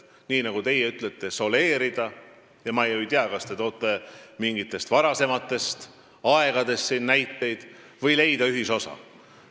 Kas, nagu teie ütlete, soleerida – ma ei tea, kas te toote siin näiteid mingitest varasematest aegadest – või leida ühisosa.